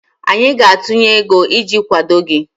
anyị ga-atụnye ego iji kwado gị